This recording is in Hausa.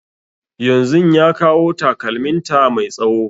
Yanzun ya kawo takalmin ta mai tsawo